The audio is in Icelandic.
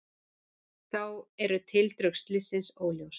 Þá eru tildrög slyssins óljós